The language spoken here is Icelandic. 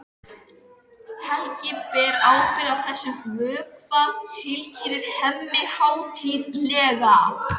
Helgi ber ábyrgð á þessum vökva, tilkynnir Hemmi hátíðlega.